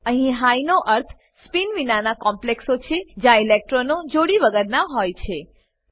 અહીં હાઈ નો અર્થ સ્પિન વિનાના કોમ્પ્લેક્સો છે જ્યાં ઇલેક્ટ્રોનો જોડી વગરના હોય છે